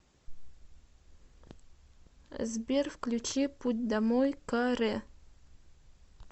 сбер включи путь домой ка ре